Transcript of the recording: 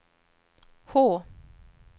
H